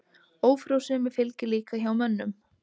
Ófrjósemi fylgir líka hjá mönnum.